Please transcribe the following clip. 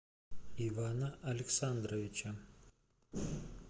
ивана александровича